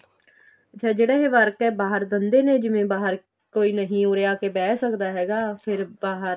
ਅੱਛਾ ਜਿਹੜਾ ਇਹ work ਏ ਬਾਹਰ ਦਿੰਦੇ ਨੇ ਜਿਵੇਂ ਬਾਹਰ ਕੋਈ ਨਹੀਂ ਉਰੇ ਆਕੇ ਬੇਹ ਸਕਦਾ ਹੈਗਾ ਫ਼ਿਰ ਬਾਹਰ